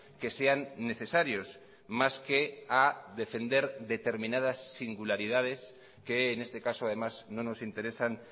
que sean necesarios más que a defender determinadas singularidades que en este caso además no nos interesan